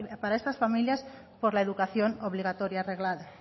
estas familias por la educación obligatoria reglada